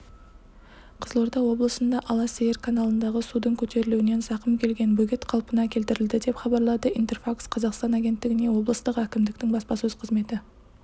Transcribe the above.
қызылорда облысында ала сиыр каналындағы судың көтерілуінен зақым келген бөгет қалпына келтірілді деп хабарлады интерфакс-қазақстан агенттігіне облыстық әкімдіктің баспасөз қызметі